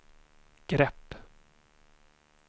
grepp